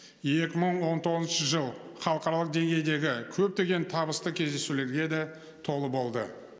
екі мың он тоғызыншы жыл халықаралық деңгейдегі көптеген табысты кездесулерге де толы болды